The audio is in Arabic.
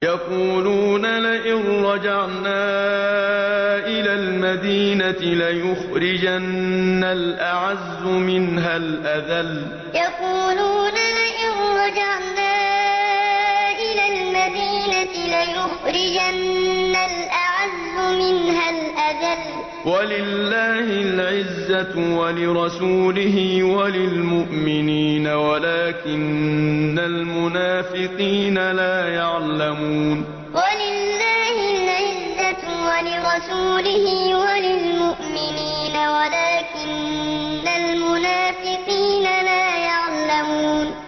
يَقُولُونَ لَئِن رَّجَعْنَا إِلَى الْمَدِينَةِ لَيُخْرِجَنَّ الْأَعَزُّ مِنْهَا الْأَذَلَّ ۚ وَلِلَّهِ الْعِزَّةُ وَلِرَسُولِهِ وَلِلْمُؤْمِنِينَ وَلَٰكِنَّ الْمُنَافِقِينَ لَا يَعْلَمُونَ يَقُولُونَ لَئِن رَّجَعْنَا إِلَى الْمَدِينَةِ لَيُخْرِجَنَّ الْأَعَزُّ مِنْهَا الْأَذَلَّ ۚ وَلِلَّهِ الْعِزَّةُ وَلِرَسُولِهِ وَلِلْمُؤْمِنِينَ وَلَٰكِنَّ الْمُنَافِقِينَ لَا يَعْلَمُونَ